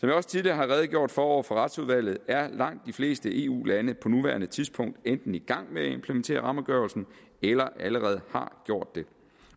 jeg også tidligere har redegjort for over for retsudvalget er langt de fleste eu lande på nuværende tidspunkt enten i gang med at implementere rammeafgørelsen eller har allerede gjort det